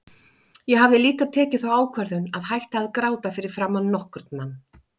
Ég hafði líka tekið þá ákvörðun að hætta að gráta fyrir framan nokkurn mann.